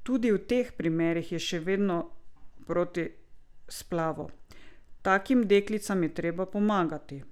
Tudi v teh primerih je še vedno proti splavu: "Takim deklicam je treba pomagati.